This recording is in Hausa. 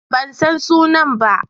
Ban san sunan ba.